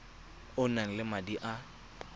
o nang le madi a